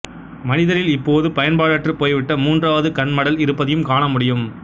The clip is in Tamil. மனிதரில் இப்போது பயன்பாடற்றுப் போய்விட்ட மூன்றாவது கண்மடல் இருப்பதையும் காணமுடியும்